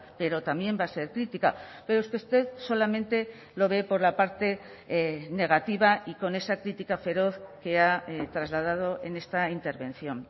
pero también va a ser crítica pero es que usted solamente lo ve por la parte negativa y con esa crítica feroz que ha trasladado en esta intervención